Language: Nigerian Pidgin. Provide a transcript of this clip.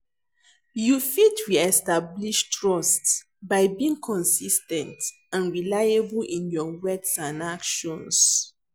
you fit re-establish trust by being consis ten t and reliable in your words and actions.